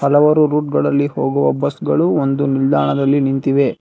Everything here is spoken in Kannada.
ಹಲವಾರು ರೂಟ್ಗ ಳಲ್ಲಿ ಹೋಗುವ ಬಸ್ ಗಳು ಒಂದು ನಿಲ್ದಾಣದಲ್ಲಿ ನಿಂತಿವೆ.